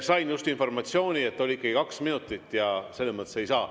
Sain just informatsiooni, et olidki kaks minutit, ja selles mõttes ei saa.